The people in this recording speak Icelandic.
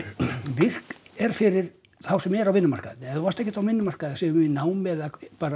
virk er fyrir þá sem eru á vinnumarkaði ef þú varst ekkert á vinnumarkaði segjum í námi eða